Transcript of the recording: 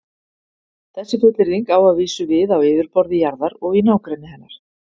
Þessi fullyrðing á að vísu við á yfirborði jarðar og í nágrenni hennar.